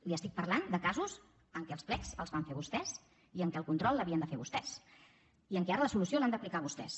li estic parlant de casos en què els plecs els van fer vostès i en què el control l’havien de fer vostès i en què ara la solució l’han d’aplicar vostès